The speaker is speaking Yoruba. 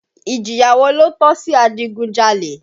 Ìjìyà wo ló tọ́ sí adigunjalè?